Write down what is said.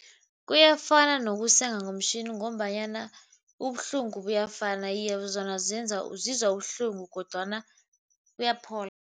Kuyafana nokusenga ngomtjhini ngombanyana ubuhlungu buyafana. Iye, zona zizwa ubuhlungu kodwana buyaphola.